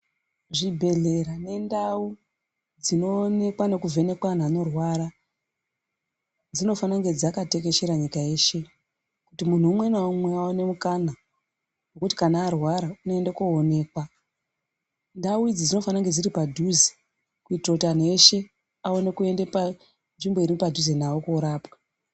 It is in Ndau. Zvibhehlera nendau dzinoonekwa nekuvheneka vantu vanorwara dzinofane kunge dzakatekeshera nyika yeshe kuti muntu umwe naumwe aone mukana wekuti kana arwara unoende koonekwa ndau idzi dzinofana kunge dziri padhuze kuitire kuti anhu eshe aone kuende panzvimbo iri padhuze navo korapwa.